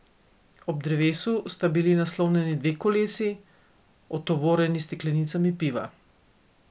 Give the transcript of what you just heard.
Ob drevesu sta bili naslonjeni dve kolesi, otovorjeni s steklenicami piva.